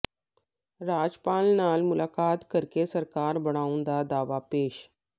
ਰਾਜਪਾਲ ਨਾਲ ਮੁਲਾਕਾਤ ਕਰਕੇ ਸਰਕਾਰ ਬਣਾਉਣ ਦਾ ਦਾਅਵਾ ਪੇਸ਼